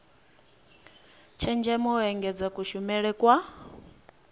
tshenzhemo u engedza kushumele kwa